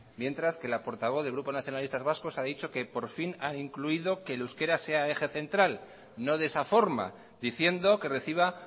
mientras que la portavoz del grupo nacionalistas vascos ha dicho que por fin ha incluido que el euskera sea eje central no de esa forma diciendo que reciba